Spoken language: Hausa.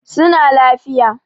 Su na lafiya.